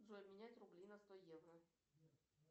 джой менять рубли на сто евро